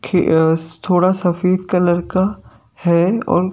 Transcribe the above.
थोड़ा सफेद कलर का है और--